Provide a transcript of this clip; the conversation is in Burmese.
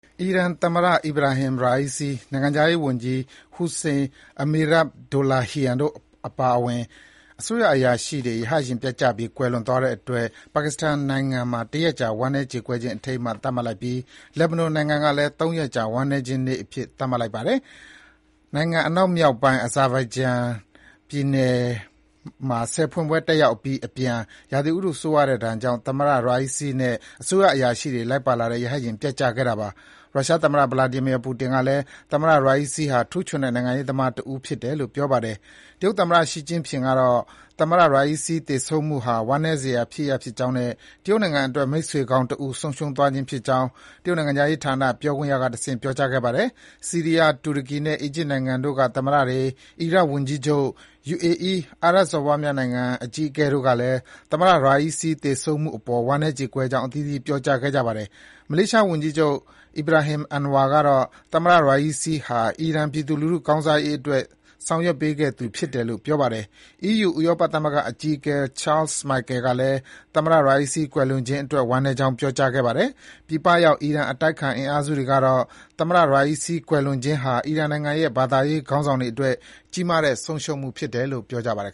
အီရန်သမ္မတ Ebrahim Raisi ၊ နိုင်ငံခြားရေးဝန်ကြီး Hossein Amirabdollahian တို့အပါအဝင် အစိုးရအရာရှိတွေ ရဟတ်ယာဉ်ပျက်ကျပြီး ကွယ်လွန်သွားတဲ့အတွက် ပါကစ္စတန်နိုင်ငံမှာ တရက်ကြာ ဝမ်းနည်းကြေကွဲခြင်း အထိမ်းအမှတ် သတ်မှတ်လိုက်ပြီး လက်ဘနွန်နိုင်ငံကလည်း ၃ ရက်ကြာ ဝမ်းနည်းကြေကွဲခြင်းနေ့အဖြစ် သတ်မှတ်လိုက်ပါတယ်။ နိုင်ငံအနောက်မြောက်ပိုင်း Azerbaijan နိုင်ငံနယ်စပ်ဒေသမှာ ဆည်ဖွင့်ပွဲတက်ရောက်အပြီးအပြန် ရာသီဥတု ဆိုးရွားတဲ့ဒဏ်ကြောင့် သမ္မတ Raisi နဲ့ အစိုးရအရာရှိတွေ လိုက်ပါလာတဲ့ ရဟတ်ယာဉ် ပျက်ကျခဲ့တာပါ။ ရုရှားသမ္မတ Vladimir Putin ကလည်း သမ္မတ Raisi ဟာ ထူးချွန်တဲ့ နိုင်ငံရေးသမားတဦးဖြစ်တယ်လို့ ပြောပါတယ်။ တရုတ်သမ္မတ ရှီကျင့်ဖျင်ကတော့ သမ္မတ Raisi သေဆုံးမှုဟာ ဝမ်းနည်းစရာဖြစ်ရပ်ဖြစ်ကြောင်းနဲ့ တရုတ်နိုင်ငံအတွက် မိတ်ဆွေကောင်းတဦး ဆုံးရှုံးသွားခြင်းဖြစ်ကြောင်း တရုတ်နိုင်ငံခြားရေးဌာန ပြောခွင့်ရကတဆင့် ပြောကြားခဲ့ပါတယ်။ ဆီးရီးယား၊ တူရကီနဲ့ အီဂျစ်နိုင်ငံတို့က သမ္မတတွေ၊ အီရတ်ဝန်ကြီးချုပ်၊ UAE အာရပ်စော်ဘွားနိုင်ငံအကြီးအကဲတို့ကလည်း သမ္မတ Raisi သေဆုံးမှုအပေါ် ဝမ်းနည်းကြေကွဲကြောင်း အသီးသီး ပြောကြားခဲ့ကြပါတယ်။ မလေးရှားဝန်ကြီးချုပ် Ibrahim Anwar ကတော့ သမ္မတ Raisi ဟာ အီရန်ပြည်သူလူထုကောင်းစားရေးအတွက် ဆောင်ရွက်ပေးခဲ့သူဖြစ်တယ်လို့ ပြောပါတယ်။ အီးယူ ဥရောပသမဂ္ဂအကြီးအကဲ Charles Micahel ကလည်း သမ္မတ Raisi ကွယ်လွန်ခြင်းအတွက် ဝမ်းနည်းကြောင်း ပြောကြားခဲ့ပါတယ်။ ပြည်ပရောက် အီရန် အတိုက်အခံ အင်အားစုတွေကတော့ သမ္မတ Raisi ကွယ်လွန်သွားခြင်းဟာ အီရန်နိုင်ငံရဲ့ ဘာသာရေးခေါင်းဆောင်တွေအတွက် ကြီးမားတဲ့ ဆုံးရှုံးမှုဖြစ်တယ်လို့ ပြောပါတယ်